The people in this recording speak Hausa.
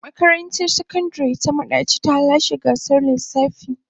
Makarantar Sakandare ta Madaci ta lashe gasar lissafi.